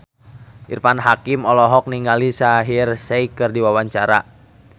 Irfan Hakim olohok ningali Shaheer Sheikh keur diwawancara